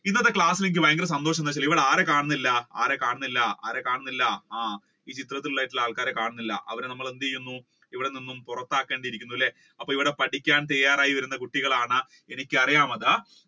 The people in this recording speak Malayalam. ഇന്നത്തെ class ഇൽ എനിക്ക് വളരെ സന്തോഷം എന്താണെന്നു വെച്ച ആരെ കാണുന്നില്ല ആരെ കാണുന്നില്ല ആരെ കാണുന്നില്ല ആ ആൾക്കാരെ കാണുന്നില്ല അവരെ നമ്മൾ എന്തെയെണ്ണം ഇവിടെ നിന്നും പുറത്താക്കണം അല്ലെ അപ്പൊ ഇവിടെ പഠിക്കാൻ തയ്യാറായിരുന്ന കുട്ടികളാണ് എനിക്ക് അറിയാം അത്